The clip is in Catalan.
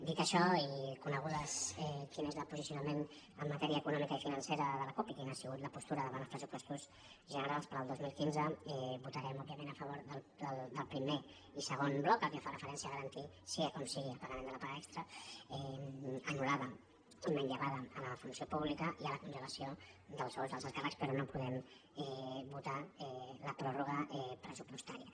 dit això i conegut quin és el posicionament en matèria econòmica i financera de la cup i quina ha sigut la postura davant dels pressupostos generals per al dos mil quinze votarem òbviament a favor del primer i segon bloc els que fan referència a garantir sigui com sigui el pagament de la paga extra anul·lada i manllevada a la funció pública i a la congelació dels sous dels alts càrrecs però no podem votar la pròrroga pressupostària